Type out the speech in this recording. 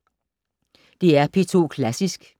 DR P2 Klassisk